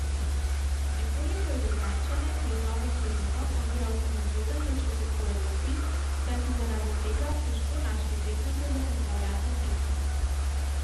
Nekoliko je Ljubljančane pred novo sezono oviral tudi zgoden začetek v Evropi, saj so zaradi tega težko našli tekmece za pripravljalne tekme.